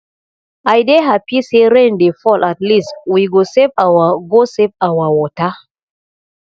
i dey happy say rain dey fall at least we go save our go save our water